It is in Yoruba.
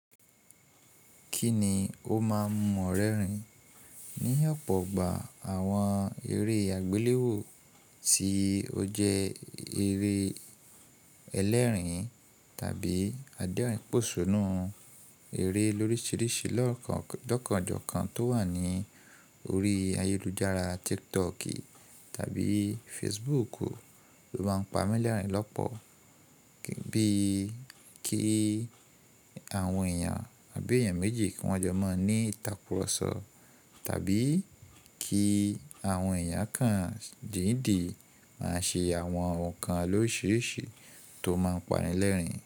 Kí ni ó máa ń mu ọ rẹ́ rìn? Ní ọ̀pọ̀ ọgbà àwọn eré àgbéléwò tí ó jẹ́ eré ẹlẹ́ẹ̀rín tàbí adẹ́rìn pòṣónú, eré lóríṣiríṣi lọ́kànjọ́kàn tó wà ní orí ayélujára TikTok tàbí Facebook ló máa ń pa mílẹ́rìn lọ́pọ̀, bíi kí àwọn èèyàn àbí èèyàn méjì kí wọ́n jọ máa ní ìtàkurọ̀sọ tàbí kí àwọn èèyàn kan dídì máa ṣe àwọn nǹkan loriṣiriṣi tó máa ń pa rìn lẹ́rìn.